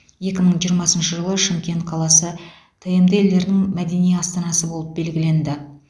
екі мың жиырмасыншы жылы шымкент қаласы тмд елдерінің мәдени астанасы болып белгіленді